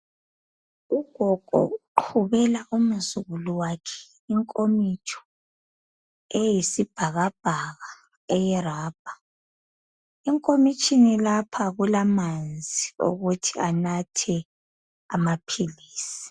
Ugogo uqhubela umzukulu wakhe inkomitsho eyisibhakabhaka eyerabha. Enkomitshini lapha kulamanzi okuthi anathe amaphilisi.